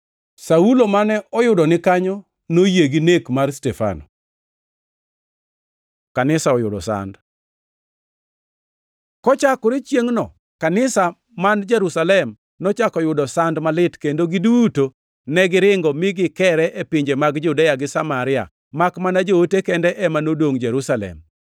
Saulo mane oyudo ni kanyo noyie gi nek mar Stefano. Kanisa oyudo sand Kochakore chiengʼno kanisa man Jerusalem nochako yudo sand malit kendo giduto negiringo mi gikere e pinje mag Judea gi Samaria, makmana joote kende ema nodongʼ Jerusalem.